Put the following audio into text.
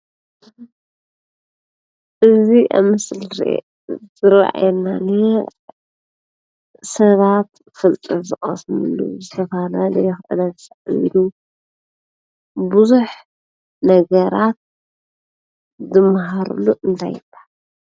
እዚ ኣብ ምስሊ ዝረኣየና ሰባት ፍልጠት ዝቀስሙሉ ዝተፈላለየ ክእለት ዘዕብዩሉ ቡዙሕ ነገራት ዝመሃርሉ እንታይ ይበሃል?